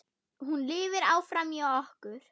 Hún lifir áfram í okkur.